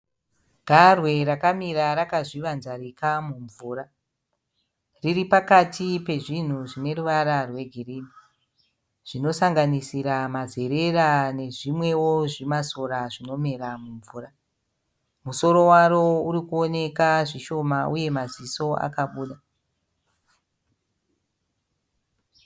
Garwe rakamira rakazvivanzarika mumvura. Riri pakati pezvinhu zvine ruvara rwegirini, zvinosanganisira mazerera nezvimwewo zvimasora zvinomera mumvura. Musoro waro uri kuoneka zvishoma uye maziso akabuda.